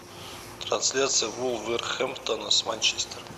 трансляция вулверхэмптона с манчестером